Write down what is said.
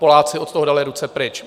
Poláci od toho dali ruce pryč.